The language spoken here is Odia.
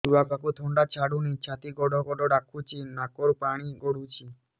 ଛୁଆକୁ ଥଣ୍ଡା ଛାଡୁନି ଛାତି ଗଡ୍ ଗଡ୍ ଡାକୁଚି ନାକରୁ ପାଣି ଗଳୁଚି